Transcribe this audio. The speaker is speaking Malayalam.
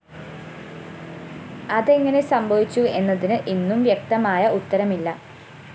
അതെങ്ങനെ സംഭവിച്ചു എന്നതിന് ഇന്നും വ്യക്തമായ ഉത്തരമില്ല